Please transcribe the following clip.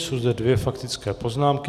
Jsou zde dvě faktické poznámky.